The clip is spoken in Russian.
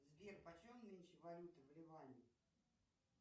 сбер по чем нынче валюта в ливане